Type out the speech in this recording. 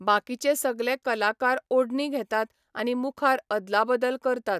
बाकीचे सगले कलाकार ओडणी घेतात आनी मुखार अदलाबदल करतात.